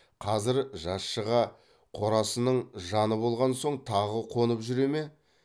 қазір жаз шыға қорасының жаны болған соң тағы қонып жүре ме